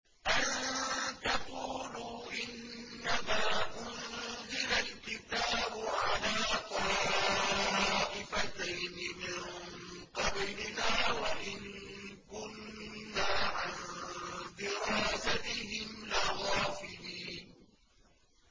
أَن تَقُولُوا إِنَّمَا أُنزِلَ الْكِتَابُ عَلَىٰ طَائِفَتَيْنِ مِن قَبْلِنَا وَإِن كُنَّا عَن دِرَاسَتِهِمْ لَغَافِلِينَ